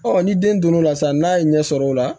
ni den donr'o la sisan n'a ye ɲɛ sɔrɔ o la